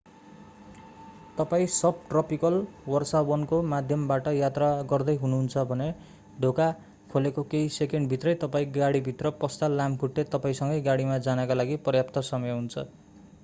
तपाईं सबट्रपिकल वर्षावनको माध्यमबाट यात्रा गर्दै हुनु हुन्छ भने ढोका खोलेको केही सेकेन्ड भित्रै तपाईं गाडीभित्र पस्दा लामखुट्टे तपाईंसँगै गाडीमा जानका लागि पर्याप्त समय हुन्छ